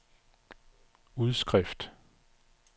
udskrift